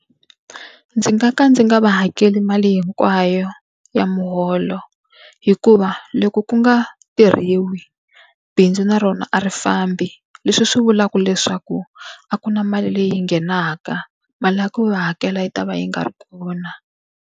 Ndzi nga ka ndzi nga va hakela mali hinkwayo ya muholo hikuva loko ku nga tirhiwi, bindzu na rona a ri fambi. Leswi swi vulaka leswaku a ku na mali leyi yi nghenaka, mali ya ku va hakela yi ta va yi nga ri kona.